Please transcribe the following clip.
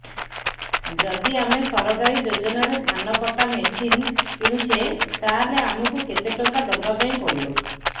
ଯଦି ଆମେ ସରକାରୀ ଯୋଜନାରେ ଧାନ କଟା ମେସିନ୍ କିଣୁଛେ ତାହାଲେ ଆମକୁ କେତେ ଟଙ୍କା ଦବାପାଇଁ ପଡିବ